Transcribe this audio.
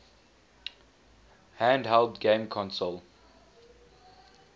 handheld game console